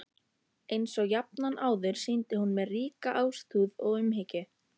Einsog jafnan áður sýndi hún mér ríka ástúð og umhyggju.